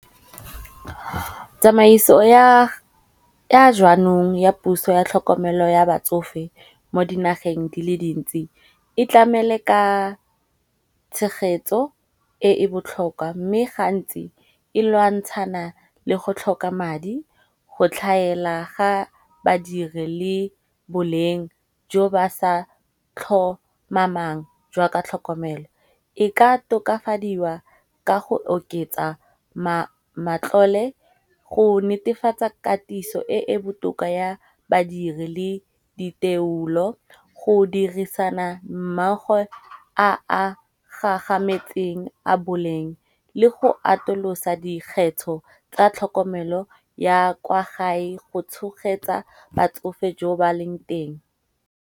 Tsamaiso ya jaanong ya puso ya tlhokomelo ya batsofe mo dinageng dile dintsi, e tlamele ka tshegetso e e botlhokwa mme gantsi e lwantshana le go tlhoka madi go tlhaela ga badiri le boleng jo ba sa tlhomamang jwa ka tlhokomelo. E ka tokafadiwa ka go oketsa matlole go netefatsa katiso e e botoka ya badiri le diteolo go dirisana mmaago a a gagametseng a boleng le go atolosa dikgetho tsa tlhokomelo ya kwa gae go tshogetsa batsofe jo ba leng teng.